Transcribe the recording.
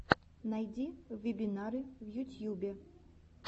найди вебинары в ютьюбе